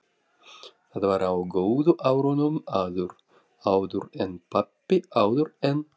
Það var á góðu árunum- áður en pabbi- áður en.